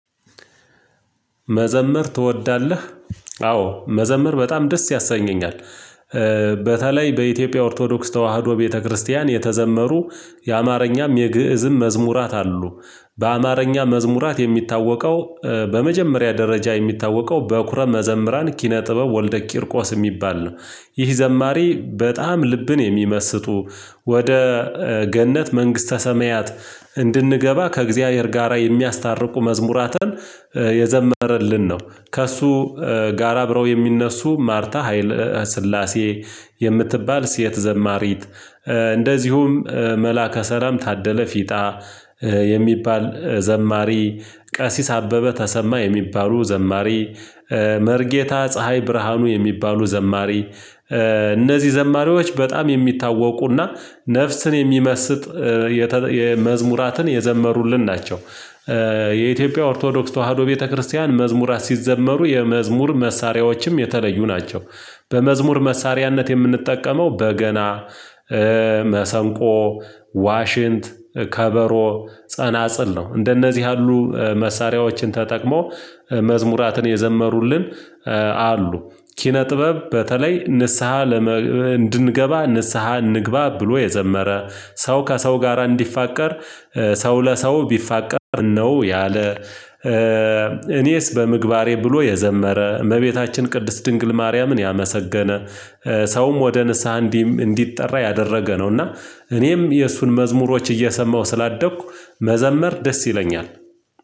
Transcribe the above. መዘመር ትወዳለህ? አዎ መዘምር በጣም ደስ ያሰኘኛል። በተለይ በኢትዮጵያ ኦርቶዶክስ ተዋህዶ ቤተክርስቲያን የተዘመሩ የአማርኛም የግእዝም መዝሙራት አሉ በአማርኛ መዝሙራት የሚታወቀው በመጀመሪያ ደረጃ የሚታወቀው በኩረ መዘምራን ኪነ ጥበብ ወልደ ቂርቆስ የሚባል ነው። ይህ ዘማሪ በጣም ልብን የሚመስጡ ወደ ገነት መንግስተ ሰማያት እንድንገባ ከእግዚአብሔር ጋራ የሚያስታርቁ መዝሙራትን የዘመረልን ነው። ከእሱ ጋራ አብረው የሚነሱ ማርታ ሀይል ስላሴ የምትባል ሴት ዘማሪት እንደዚሁም መላከ ሰላም ታደለ ፊጣ የሚባል ዘማሪ፣ ቀሲስ አበበ ተሰማ የሚባሉ ዘማሪ፣ መርጌታ ፀሀይ ብርሃኑ የሚባሉ ዘማሪ፣ እነዚህ ዘማሪዎች በጣም የሚታወቁና ነፍስን የሚመስጥ የመዝሙራትን የዘመሩልን ናቸው። የኢትዮጵያ ኦርቶዶክስ ተዋህዶ ቤተክርስቲያን መዝሙራት ሲዘመሩ የመዝሙር መሳሪያዎችም የተለዩ ናቸው። በመዝሙር መሳሪያነት የምንጠቀመው በገና መሰንቆ፣ ዋሽንት፣ ከበሮ፣ ጸናጽል ነው። እንደነዚህ ያሉ መሳሪያዎችን ተጠቅሞ መዝሙራትን የዘመሩልን አሉ። ኪነ ጥበብ በተለይ ንስሃ እንድንገባ ንስሃ እንግባ ብሎ የዘመረ ሰው ከሰው ጋራ እንዲፋቀር ሰው ለሰው ቢፋቀር ምነነው ያለ እኔስ በምግባሬ ብሎ የዘመረ፣ እመቤታችን ቅድስት ድንግል ማርያምን ያመሰገነ፣ ሰውም ወደ ንስሃ እንዲ እንዲጠራ ያደረገ ነውና እኔም የእሱን መዝሙሮች እየሰማሁ ስላደግኩ መዘመር ደስ ይለኛል።